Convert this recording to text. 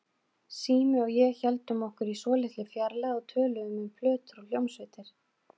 Sími og ég héldum okkur í svolítilli fjarlægð og töluðum um plötur og hljómsveitir.